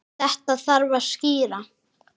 Þetta þarf að skýra.